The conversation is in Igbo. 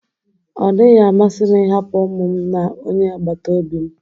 Ọ dịghị amasị m ịhapụ ụmụ m na onye agbata obi m